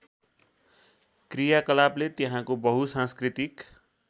क्रियाकलापले त्यहाँको बहुसाँस्कृतिक